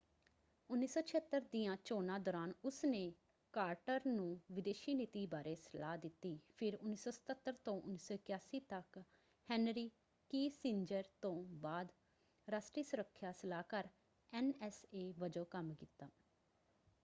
1976 ਦੀਆਂ ਚੋਣਾਂ ਦੌਰਾਨ ਉਸਨੇ ਕਾਰਟਰ ਨੂੰ ਵਿਦੇਸ਼ੀ ਨੀਤੀ ਬਾਰੇ ਸਲਾਹ ਦਿੱਤੀ ਫਿਰ 1977 ਤੋਂ 1981 ਤੱਕ ਹੈਨਰੀ ਕਿਸੀਂਜਰ ਤੋਂ ਬਾਅਦ ਰਾਸ਼ਟਰੀ ਸੁੱਰਖਿਆ ਸਲਾਹਕਾਰ ਐਨਐਸਏ ਵਜੋਂ ਕੰਮ ਕੀਤਾ।